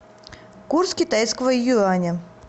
курс китайского юаня